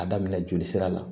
A daminɛ joli sira la